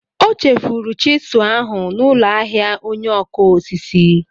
O chefuru chịsụ ahụ n'ụlọ ahịa onye ọkụ osisi.